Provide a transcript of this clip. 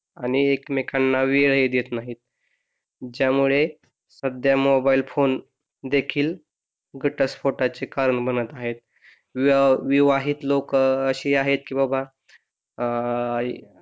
आणि एकमेकांना वेळ ही देत नाहीत. ज्या मुळे सध्या मोबाइल फोन देखील घटस्फोटाचे कारण बनत आहेत. विवाह विवाहित लोक असे आहेत की बाबा आह